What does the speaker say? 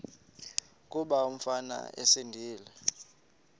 kuba umfana esindise